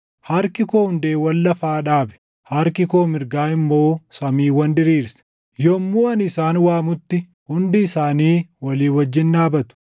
Harki koo hundeewwan lafaa dhaabe; harki koo mirgaa immoo samiiwwan diriirse; yommuu ani isaan waamutti, hundi isaanii walii wajjin dhaabatu.